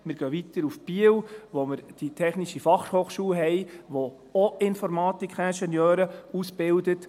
Wir gehen weiter nach Biel, wo wir die technische Fachhochschule haben, die auch Informatik-Ingenieure ausbildet.